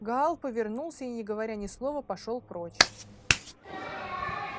гаал повернулся и не говоря ни слова пошёл прочь